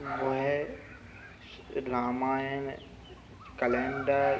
वह स्स रामायण कलेंडर --